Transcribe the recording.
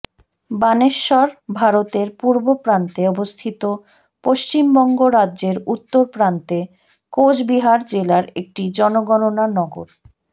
বাণেশ্বর ভারতের পূর্বপ্রান্তে অবস্থিত পশ্চিমবঙ্গ রাজ্যের উত্তরপ্রান্তে কোচবিহার জেলার একটি জনগণনা নগর